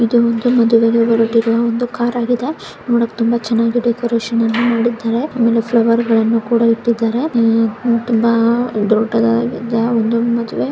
ಇದು ಒಂದು ಮದುವೆಗೆ ಬರುತ್ತಿರುವ ಕಾರ್ ಆಗಿದೆ ತುಂಬಾ ಚೆನ್ನಾಗಿ ಡೆಕೋರೇಷನ್ ಅನ್ನು ಮಾಡಿದ್ದಾರೆ ಮತ್ತು ಫ್ಲವರ್ ಗಳನ್ನೂ ಕೂಡ ಇಟ್ಟಿದ್ದಾರೆ ತುಂಬಾ ದೊಡ್ಡದಾಗಿದೆ ಒಂದು ಮದುವೆ.